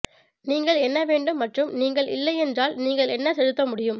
நீங்கள் என்ன வேண்டும் மற்றும் நீங்கள் இல்லை என்றால் நீங்கள் என்ன செலுத்த முடியும்